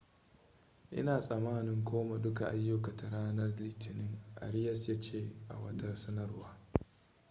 ina tsamanin koma duka ayyukata ranar litinin arias ya ce a wata sanarwa